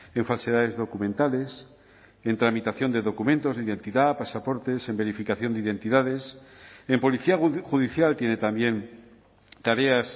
en falsedades documentales en tramitación de documentos de identidad pasaportes en verificación de identidades en policía judicial tiene también tareas